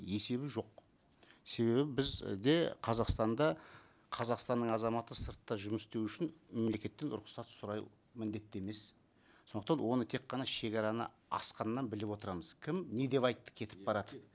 есебі жоқ себебі біз қазақстанда қазақстанның азаматы сыртта жұмыс істеу үшін мемлекеттен рұқсат сұрау міндетті емес сондықтан оны тек қана шегараны асқаннан біліп отырамыз кім не деп айтты кетіп баратып